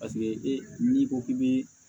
Paseke e n'i ko k'i bɛ